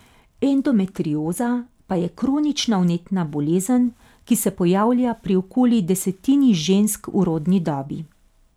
Endometrioza pa je kronična vnetna bolezen, ki se pojavlja pri okoli desetini žensk v rodni dobi.